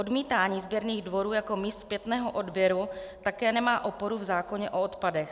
Odmítání sběrných dvorů jako míst zpětného odběru také nemá oporu v zákoně o odpadech.